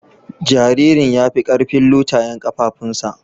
Jaririn ya fi karfin lutayen kafafunsa.